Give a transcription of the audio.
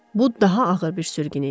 Bu daha ağır bir sürgün idi.